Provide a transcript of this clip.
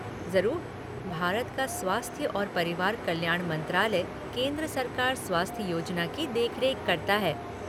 ज़रूर। भारत का स्वास्थ्य और परिवार कल्याण मंत्रालय केंद्र सरकार स्वास्थ्य योजना की देखरेख करता है।